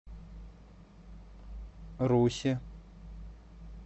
русе